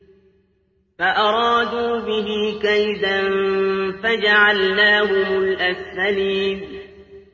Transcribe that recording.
فَأَرَادُوا بِهِ كَيْدًا فَجَعَلْنَاهُمُ الْأَسْفَلِينَ